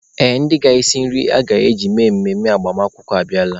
Ee, ndị ga-esi nri a ga-eji eme emume agbamakwụkwọ abịala.